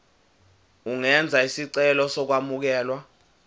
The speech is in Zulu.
ungenza isicelo sokwamukelwa